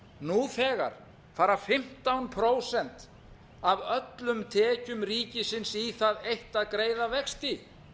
nú þegar fara fimmtán prósent af öllum tekjum ríkisins í það eitt að greiða vexti